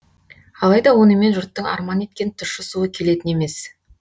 алайда онымен жұрттың арман еткен тұщы суы келетін емес